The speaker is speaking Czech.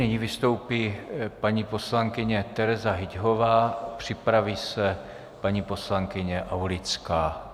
Nyní vystoupí paní poslankyně Tereza Hyťhová, připraví se paní poslankyně Aulická.